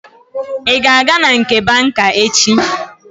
Ị ga-aga na nke banka echi?